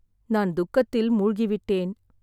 நான் துக்கத்தில் மூழ்கிவிட்டேன்.